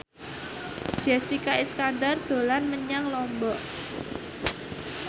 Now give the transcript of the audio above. Jessica Iskandar dolan menyang Lombok